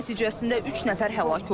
Hücum nəticəsində üç nəfər həlak olub.